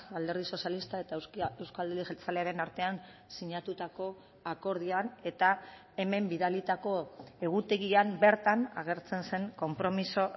alderdi sozialista eta euzko alderdi jeltzalearen artean sinatutako akordioan eta hemen bidalitako egutegian bertan agertzen zen konpromiso